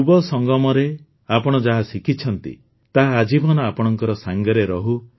ଯୁବସଙ୍ଗମରେ ଆପଣ ଯାହା ଶିଖିଛନ୍ତି ତାହା ଆଜୀବନ ଆପଣଙ୍କ ସାଂଗରେ ରହୁ